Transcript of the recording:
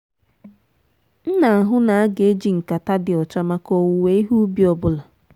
m na-ahụ na aga-eji nkata dị ọcha maka owuwe ihe ubi ọ bụla.